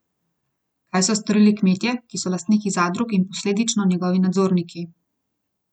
Kaj so storili kmetje, ki so lastniki zadrug in posledično njegovi nadzorniki?